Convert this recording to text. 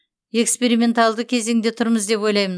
эксперименталды кезеңде тұрмыз деп ойлаймын